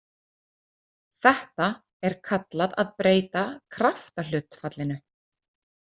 Þetta er kallað að breyta kraftahlutfallinu.